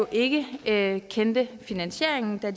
ikke kendte finansieringen da